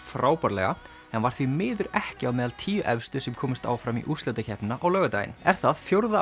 frábærlega en var því miður ekki á meðal tíu efstu sem komust áfram í úrslitakeppnina á laugardaginn er það fjórða